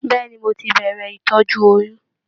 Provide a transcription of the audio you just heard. Bẹ̀ẹ́ni, mo tí bẹrẹ ìtọjú oyún.